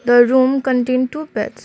the room content two beds.